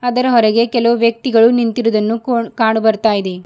ಅದರ ಹೊರಗೆ ಕೆಲವು ವ್ಯಕ್ತಿಗಳು ನಿಂತಿರುವುದನ್ನು ಕಾಣು ಬರ್ತಾಯಿದೆ.